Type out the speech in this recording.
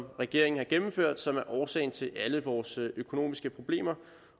regeringen har gennemført som er årsagen til alle vores økonomiske problemer